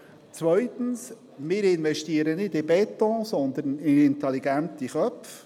Zweitens: Wir investieren nicht in Beton, sondern in intelligente Köpfe.